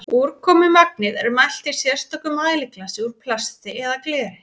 úrkomumagnið er mælt í sérstöku mæliglasi úr plasti eða gleri